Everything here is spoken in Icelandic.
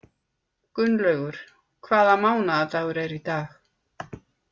Gunnlaugur, hvaða mánaðardagur er í dag?